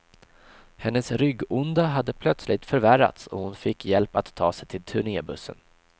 Hennes ryggonda hade plötsligt förvärrats och hon fick hjälp att ta sig till turnebussen.